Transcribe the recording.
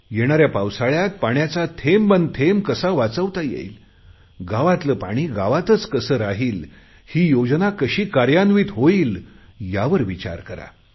येणाऱ्या पावसाळ्यात पाण्याचा थेंब न थेंब कसा वाचवता येईल गावातले पाणी गावातच कसे राहील ही योजना कशी कार्यान्वित होईल यावर विचार करा